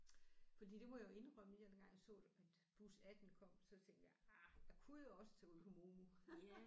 Fordi det må jeg jo indrømme dengang jeg så det at bus 18 kom så tænkte jeg ah jeg kunne jo også tage ud på MOMU